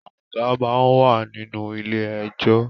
Aga máa wà nínú ilé ẹjọ́.